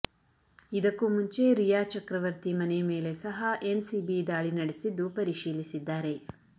ಇದಕ್ಕೂ ಮುಂಚೆ ರಿಯಾ ಚಕ್ರವರ್ತಿ ಮನೆ ಮೇಲೆ ಸಹ ಎನ್ಸಿಬಿ ದಾಳಿ ನಡೆಸಿದ್ದು ಪರಿಶೀಲಿಸಿದ್ದಾರೆ